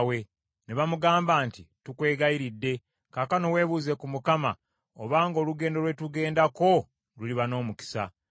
Ne bamugamba nti, “Tukwegayiridde, kaakano weebuuze ku Katonda, obanga olugendo lwe tugenda luliba n’omukisa.”